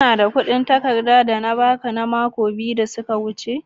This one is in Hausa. Kana da kudin takarda da na ba ka mako biyu da ya wuce?